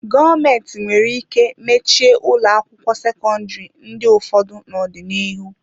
Gọọmentị nwere ike mechie ụlọ akwụkwọ sekọndrị ndị ụfọdụ n'ọdịnihu.